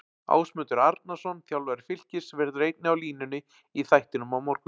Ásmundur Arnarsson, þjálfari Fylkis, verður einnig á línunni í þættinum á morgun.